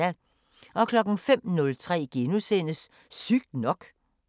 05:03: Sygt nok *